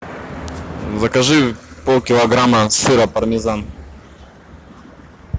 закажи полкилограмма сыра пармезан